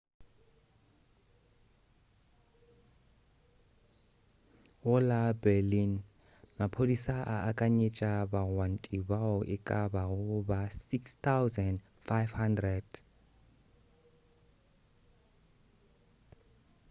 go la berlin maphodisa a akanyetša bagwanti bao e ka bago ba 6,500